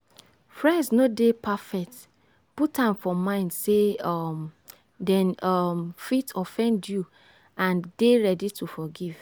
friends no dey perfect put am for mind sey um dem um fit offend you and dey ready to forgive